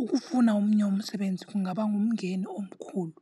Ukufuna omnye umsebenzi kungaba ngumngeni omkhulu.